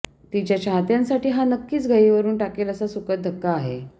तिच्या चाहत्यांसाठी हा नक्कीच गहिवरून टाकेल असा सुखद धक्का आहे